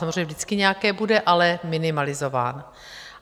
Samozřejmě vždycky nějaké bude, ale minimalizováno.